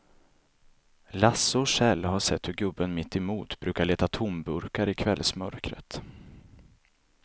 Lasse och Kjell har sett hur gubben mittemot brukar leta tomburkar i kvällsmörkret.